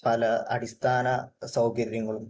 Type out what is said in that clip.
പല അടിസ്ഥാന സൌകര്യങ്ങളും